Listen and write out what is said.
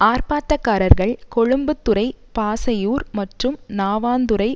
ஆர்ப்பாட்டக்காரர்கள் கொழும்புத்துறை பாசையூர் மற்றும் நாவாந்துறை